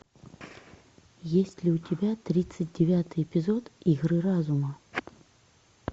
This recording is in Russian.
есть ли у тебя тридцать девятый эпизод игры разума